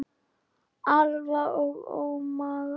Alfa og ómega.